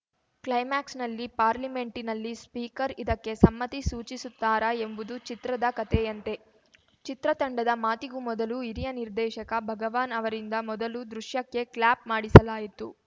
ಕ್ಲೈಮಾಕ್ಸ್‌ನಲ್ಲಿ ಪಾರ್ಲಿಮೆಂಟಿನಲ್ಲಿ ಸ್ಪೀಕರ್‌ ಇದಕ್ಕೆ ಸಮ್ಮತಿ ಸೂಚಿಸುತ್ತಾರಾ ಎಂಬುದು ಚಿತ್ರದ ಕತೆಯಂತೆ ಚಿತ್ರತಂಡದ ಮಾತಿಗೂ ಮೊದಲು ಹಿರಿಯ ನಿರ್ದೇಶಕ ಭಗವಾನ್‌ ಅವರಿಂದ ಮೊದಲು ದೃಶ್ಯಕ್ಕೆ ಕ್ಲಾಪ್‌ ಮಾಡಿಸಲಾಯಿತು